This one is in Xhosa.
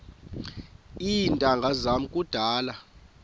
iintanga zam kudala